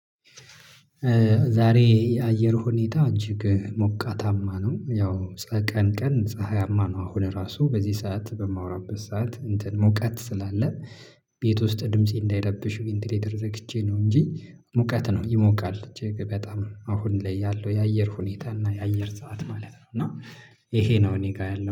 ዛሬ የአየር ሁኔታ እጅግ ሞቃታማ ነው ያው ቀን ቀን ፀሀያማ ነው ሆነ ራሱ በዚህ ሰዓት በማወራበት ሰዓት እንትን ሞቀት ስላለ። ቤት ውስጥ ድምፄ እንዳይለብሽ ወይም ድምፄ ቢንትሌተር ዘግቼ ነው እንጂ ሙቀት ነው ይሞቃል በጣም አሁን ላይ ያለው የአየር ሁኔታ እና የአየር ሰዓት ማለት ነው። እና ይሄ ነው እኔ ጋር ያለው